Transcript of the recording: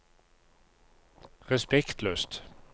respektløst